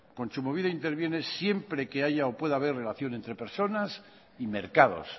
kontsumobide interviene siempre que haya o pueda haber relación entre personas y mercados